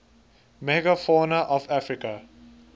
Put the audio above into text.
megafauna of africa